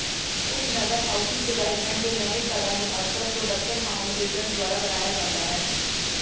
ਉਪਨਗਰ housing development ਦੇ ਨਵੇਂ ਘਰਾਂ ਨੂੰ ਅਕਸਰ ਪ੍ਰੋਡਕਸ਼ਨ ਹਾਊਂਡ ਬਿਲਡਰਜ਼ ਦੁਆਰਾ ਬਣਾਇਆ ਜਾਂਦਾ ਹੈ